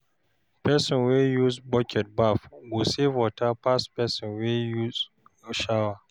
person wey use bucket baff go save water pass pesin wey use shower